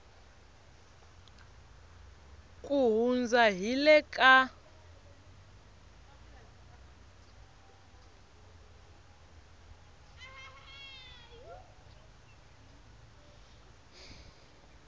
ku hundza hi le ka